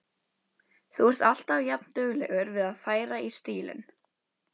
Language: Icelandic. Þú ert alltaf jafnduglegur við að færa í stílinn.